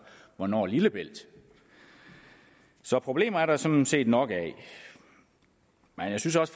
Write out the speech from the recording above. hvornår lillebælt så problemer er der sådan set nok af men jeg synes også